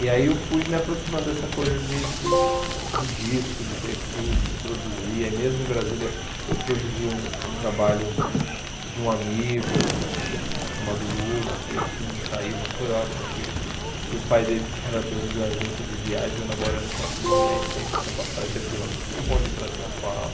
E aí eu fui me aproximando dessa coisa de do do disco, de ter estúdio, de produzir, aí mesmo em Brasília eu produzi um um trabalho de um amigo chamado Lula, que isso não saiu, mas foi ótimo que que o pai dele já era dono de uma agência de viagem, eu namorando com a Simone, aí sempre tinha passagem de avião para Simone e para São Paulo.